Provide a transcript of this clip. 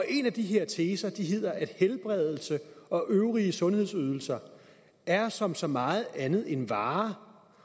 i en af de her teser hedder det at helbredelse og øvrige sundhedsydelser er som så meget andet en vare